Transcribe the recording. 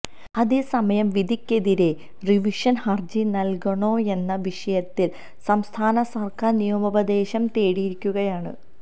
അതേസമയം വിധിക്കെതിരെ റിവിഷന് ഹര്ജി നല്കണോയെന്ന വിഷയത്തില് സംസ്ഥാന സര്ക്കാര് നിയമോപദേശം തേടിയിരിക്കുകയാണ്